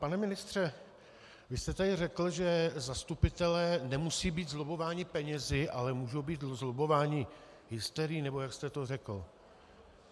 Pane ministře, vy jste tady řekl, že zastupitelé nemusí být zlobbováni penězi, ale můžou být zlobbováni hysterií, nebo jak jste to řekl.